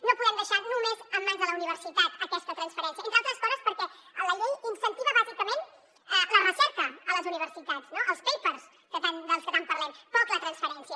no podem deixar només en mans de la universitat aquesta transferència entre altres coses perquè la llei incentiva bàsicament la recerca a les universitats no els papers dels que tant parlem poc la transferència